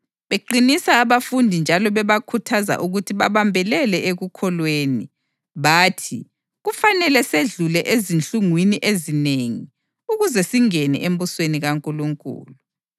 beqinisa abafundi njalo bebakhuthaza ukuthi babambelele ekukholweni. Bathi, “Kufanele sedlule ezinhlungwini ezinengi ukuze singene embusweni kaNkulunkulu.”